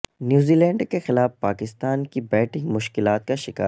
نیوزی لینڈ کیخلاف پاکستان کی بیٹنگ مشکلات کا شکار